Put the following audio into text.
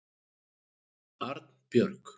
Arnbjörg